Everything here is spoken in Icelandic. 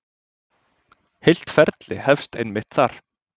Heilt ferli hefst einmitt þar.